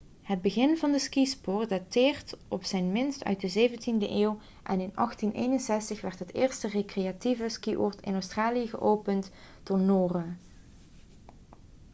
het begin van de skisport dateert op zijn minst uit de 17e eeuw en in 1861 werd het eerste recreatieve skioord in australië geopend door noren